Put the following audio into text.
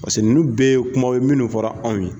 Paseke nunnu bɛ ye kuma minnu fɔra anw ye.